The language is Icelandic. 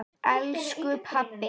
Elsku Baddi.